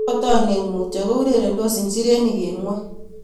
Rotei oinet mutyo ko urerendos njirenik eng ngwony